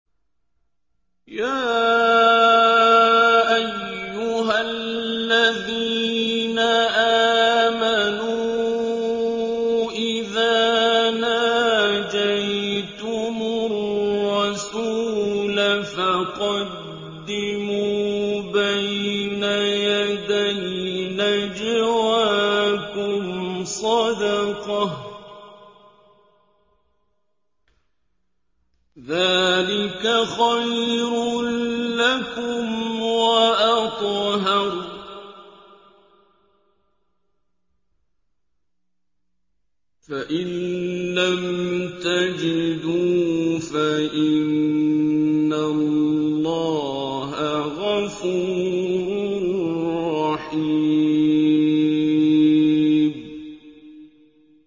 يَا أَيُّهَا الَّذِينَ آمَنُوا إِذَا نَاجَيْتُمُ الرَّسُولَ فَقَدِّمُوا بَيْنَ يَدَيْ نَجْوَاكُمْ صَدَقَةً ۚ ذَٰلِكَ خَيْرٌ لَّكُمْ وَأَطْهَرُ ۚ فَإِن لَّمْ تَجِدُوا فَإِنَّ اللَّهَ غَفُورٌ رَّحِيمٌ